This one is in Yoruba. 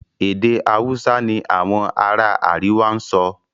èdè Hausa ní Àwọn ará àríwá sọ.